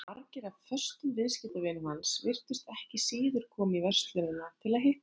Margir af föstum viðskiptavinum hans virtust ekki síður koma í verslunina til að hitta hann.